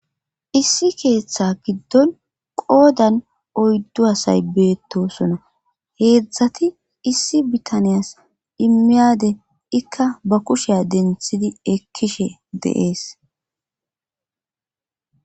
Issi keeththe giddon qoodan oyddu asay beettosonna heedzdzati issi bitaniyas immiyade ikka ba kusheya denthidi ekkishe deees